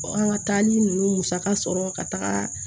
an ka taali ninnu musaka sɔrɔ ka taga